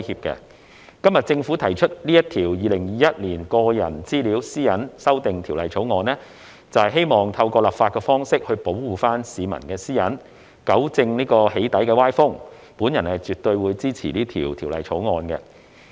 今天政府提出《2021年個人資料條例草案》，就是希望透過立法的方式保護市民的私隱，糾正"起底"歪風，我絕對支持本條例草案。